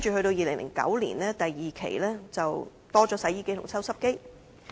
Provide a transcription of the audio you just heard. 到2009年，推出了第二階段，加入了洗衣機及抽濕機。